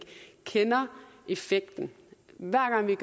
kender effekten hver gang vi